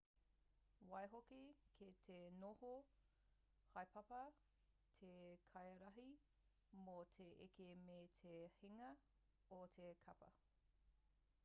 waihoki kei te noho haepapa te kaiārahi mō te eke me te hinga o te kapa